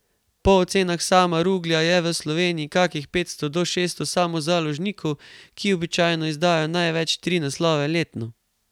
Po ocenah Sama Ruglja je v Sloveniji kakih petsto do šeststo samozaložnikov, ki običajno izdajo največ tri naslove letno.